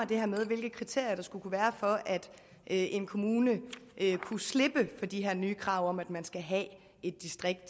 det her med hvilke kriterier der skulle kunne at en kommune kunne slippe for de her nye krav om at man skal have et distrikt